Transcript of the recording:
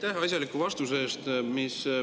Aitäh asjaliku vastuse eest!